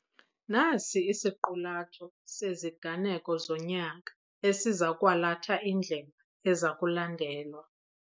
Nasi isiqulatho seziganeko zonyaka esiza kwalatha indlela eza kulandelwa.